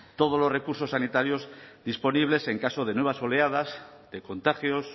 todos los recursos sanitarios disponibles en caso de nuevas oleadas de contagios